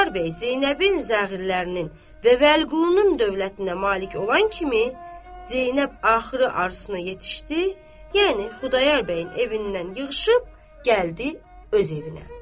Xudayar bəy Zeynəbin zəğirlərinin və Vəliqulunun dövlətinə malik olan kimi, Zeynəb axırı arzusuna yetişdi, yəni Xudayar bəyin evindən yığışıb gəldi öz evinə.